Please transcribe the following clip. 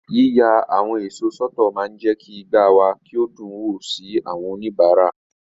Yíya àwọn èso sọ́tọ̀ máa ń jẹ́ kí igbá wa kí o dùn wò sí àwọn oníbàárà.